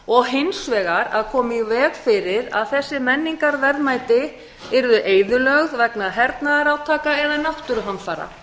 og hins vegar að koma í veg fyrir að þessi menningarverðmæti yrðu eyðilögð vegna hernaðarátaka eða náttúruhamfara